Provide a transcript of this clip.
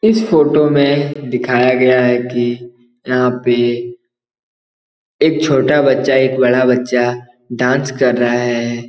इस फ़ोटो में दिखाया गया है कि यहाँ पे एक छोटा बच्चा एक बड़ा बच्चा डांस कर रहा है।